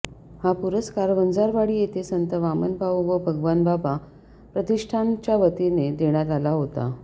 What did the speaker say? हा पुरस्कार वंजारवाडी येथे संत वामनभाऊ व भगवानबाबा प्रतिष्ठानच्यावतीने देण्यात आला होता